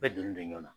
Bɛɛ donnen don ɲɔn na